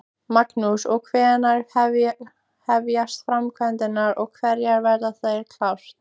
Magnús: Og hvenær hefjast framkvæmdir og hvenær verður þetta klárt?